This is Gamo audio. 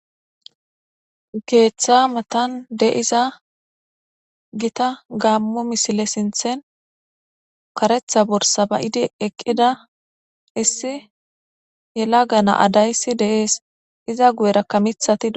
Geeththa matan de iza gita gammo misile sinthen karetha borsaba'idi eqqida issi yela gana adayssi deees iza guyerakka mithati.